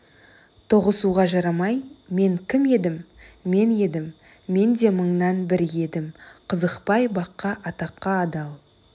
тоғысуға жарамай мен кім едім мен едім мен де мыңның бірі едім қызықпай баққа атаққа адал